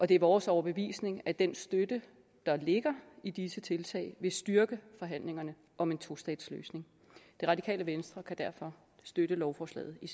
det er vores overbevisning at den støtte der ligger i disse tiltag vil styrke forhandlingerne om en tostatsløsning radikale venstre kan derfor støtte lovforslaget i